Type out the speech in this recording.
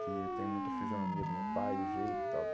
que eu tenho muita fisionomia do meu pai, o jeito e tal.